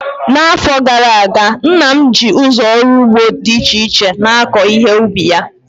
N'afọ gara aga, nna m ji ụzọ ọrụ ugbo dị iche iche na-akọ ihe ubi ya